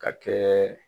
Ka kɛ